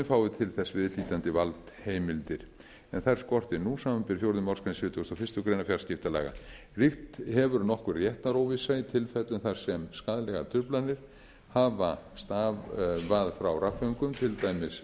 fái til þess viðhlítandi valdheimildir en þær skortir nú samanber fjórðu málsgrein sjötugustu og fyrstu grein fjarskiptalaga ríkt hefur nokkur réttaróvissa í tilfellum þar sem skaðlegar truflanir hafa stafað frá rafföngum